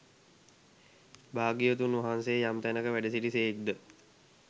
භාග්‍යවතුන් වහන්සේ යම් තැනක වැඩසිටි සේක් ද